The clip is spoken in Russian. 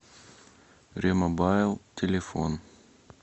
ремобайл телефон